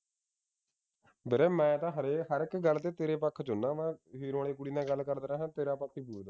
ਵੀਰੇ ਮੈਂ ਤਾ ਹਰੇ ਹਰੇਕ ਗੱਲ ਤੇ ਤੇਰੇ ਪੱਖ ਵਿਚ ਹੁੰਦਾ ਵਾਂ ਵਾਲੀ ਕੁੜੀ ਨਾਲ ਗੱਲ ਕਰਦਾ ਰਿਹਾ ਤੇਰਾ ਪੱਖ ਹੀ ਪੂਰਦਾ